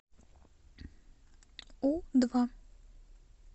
у два